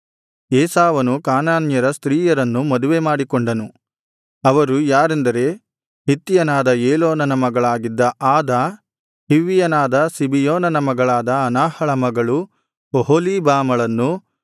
ಏಸಾವನು ಕಾನಾನ್ಯರ ಸ್ತ್ರೀಯರನ್ನು ಮದುವೆಮಾಡಿಕೊಂಡನು ಅವರು ಯಾರೆಂದರೆ ಹಿತ್ತಿಯನಾದ ಏಲೋನನ ಮಗಳಾಗಿದ್ದ ಆದಾ ಹಿವ್ವಿಯನಾದ ಸಿಬಿಯೋನನ ಮಗಳಾದ ಅನಾಹಳ ಮಗಳು ಒಹೊಲೀಬಾಮಳನ್ನು